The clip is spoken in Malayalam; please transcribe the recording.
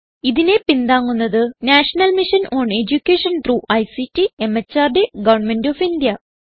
ഇതിനെ പിന്താങ്ങുന്നത് national mission on education through ICT MHRD government of India